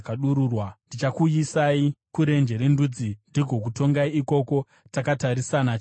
Ndichakuyisai kurenje rendudzi ndigokutongai ikoko takatarisana chiso nechiso.